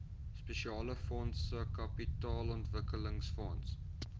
spesiale fondse kapitaalontwikkelingsfonds